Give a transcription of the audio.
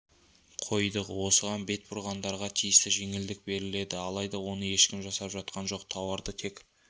қойдық осыған бет бұрғандарға тиісті жеңілдік беріледі алайда оны ешкім жасап жатқан жоқ тауарды тек